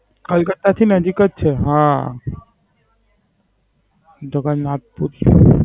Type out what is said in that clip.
કલકત્તા થી નજીક જ છે. હા. જગન્નાથપુરી